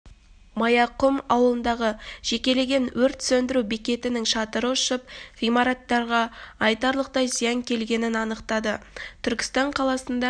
маяқұм ауылындағы жекелеген өрт сөндіру бекетінің шатыры ұшып ғимараттарға айтарлықтай зиян келгенін анықтады түркістан қаласында